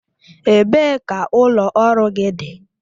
Ebee ka ụlọ ọrụ gị dị?